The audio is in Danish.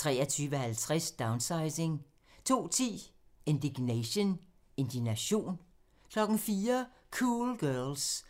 23:50: Downsizing 02:10: Indignation 04:00: Cool Girls